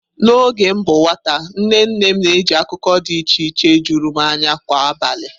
N'oge m bụ nwata, nne nne m na-eji akụkọ dị iche iche juru m anya kwa abalị.